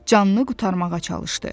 Canını qurtarmağa çalışdı.